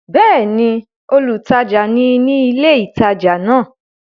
Bẹ́ẹ̀ni, olùtajà ni ní ilé ìtajà náà?